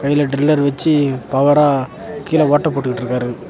கீழ ட்ரில்லர் வெச்சி பவரா கீழ ஓட்ட போட்டுட்டுருக்காரு.